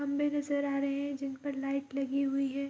खम्भे नजर आ रहे हैं जिनपर लाइट लगी हुई है।